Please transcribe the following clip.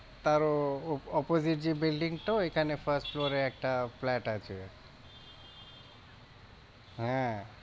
তারও opposite যে building টা ওইখানে first floor এ একটা flat আছে হ্যাঁ।